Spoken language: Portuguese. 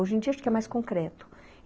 Hoje em dia acho que é mais concreto.